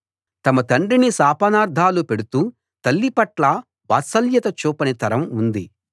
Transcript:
తమ తండ్రిని శాపనార్థాలు పెడుతూ తల్లిపట్ల వాత్సల్యత చూపని తరం ఉంది